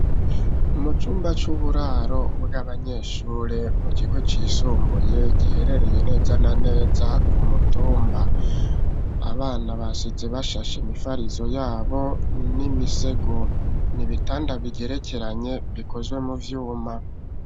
Mu cumba c'uburaro bw'abanyeshure mu kigo c'isumbuye giherereye neza na neza ku mutumba, abana basize bashashe imifarizo yabo n'imisego nibitanda bigerekeranye bikozwe mu vyuma.